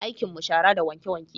Aikin mu shara da wanke-wanke